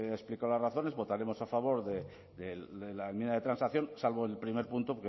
he explicado las razones votaremos a favor de la enmienda de transacción salvo el primer punto